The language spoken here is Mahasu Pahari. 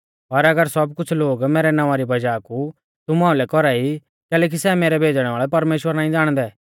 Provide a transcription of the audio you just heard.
पर एऊ सब कुछ़ लोग मैरै नावां री वज़ाह कु तुमु आइलै कौरा ई कैलैकि सै मैरौ भेज़णै वाल़ै परमेश्‍वर नाईं ज़ाणदै